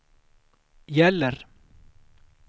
gäller